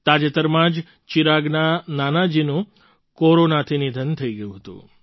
તાજેતરમાં જ ચિરાગના નાનાજીનું કોરોનાથી નિધન થઈ ગયું હતું